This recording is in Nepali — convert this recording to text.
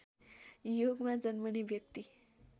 योगमा जन्मने व्यक्ति